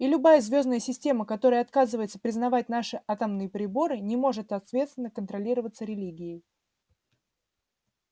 и любая звёздная система которая отказывается признавать наши атомные приборы не может ответственно контролироваться религией